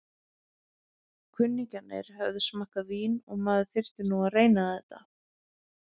Kunningjarnir höfðu smakkað vín og maður þurfti nú að reyna þetta.